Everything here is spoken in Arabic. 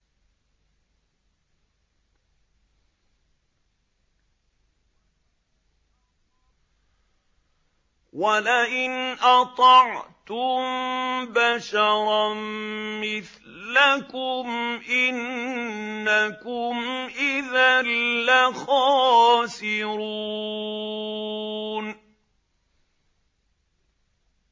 وَلَئِنْ أَطَعْتُم بَشَرًا مِّثْلَكُمْ إِنَّكُمْ إِذًا لَّخَاسِرُونَ